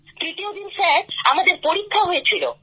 তৃতীয় দিন স্যার আমাদের পরীক্ষা হয়েছিল